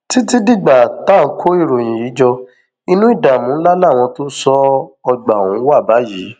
títí dìgbà tá à ń kó ìròyìn yìí jọ inú ìdààmú ńlá làwọn tó ń ṣọ ọgbà ọhún wà báyìí